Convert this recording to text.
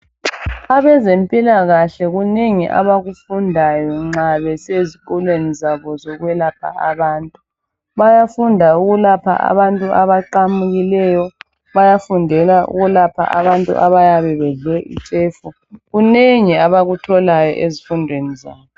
Abezempilakahle kunengi abakudundayo nxa besezikolweni zabo zokwelapha abantu. Bayafunda ukulapha abantu abaqamukileyo, bayafundela ukulapha abantu abayabe bedle itshefu, kunengi abakutholayo ezifundweni zabo.